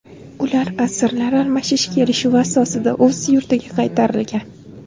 Ular asirlar almashish kelishuvi asosida o‘z yurtiga qaytarilgan.